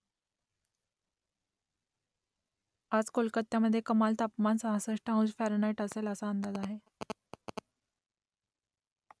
आज कोलकात्यामध्ये कमाल तापमान सहासष्ट अंश फॅरनहाईट असेल असा अंदाज आहे